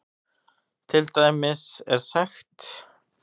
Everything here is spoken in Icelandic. Til dæmis er sagt